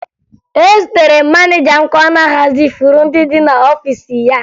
Ezutere m maneja m ka ọ na-ahazi ifuru ndị dị n'ọfiisi ya